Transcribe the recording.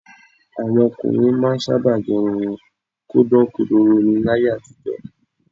Àwọn ọkùnrin máa ń sábà gẹ irun wọn kó dán kodoro ni láyé àtijọ́